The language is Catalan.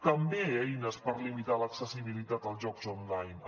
també eines per limitar l’accessibilitat als jocs online